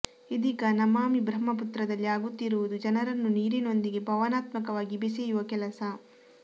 ಇದೀಗ ನಮಾಮಿ ಬ್ರಹ್ಮಪುತ್ರದಲ್ಲಿ ಆಗುತ್ತಿರುವುದು ಜನರನ್ನು ನೀರಿನೊಂದಿಗೆ ಭಾವನಾತ್ಮಕವಾಗಿ ಬೆಸೆಯುವ ಕೆಲಸ